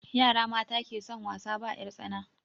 Yara mata ke son wasa ba 'yar tsana